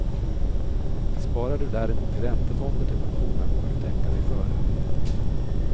Sparar du däremot i räntefonder till pensionen bör du tänka dig för.